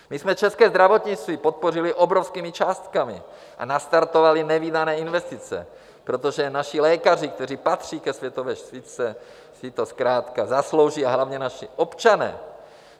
My jsme české zdravotnictví podpořili obrovskými částkami a nastartovali nevídané investice, protože naši lékaři, kteří patří ke světové špičce, si to zkrátka zaslouží, a hlavně naši občané.